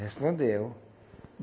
Respondeu.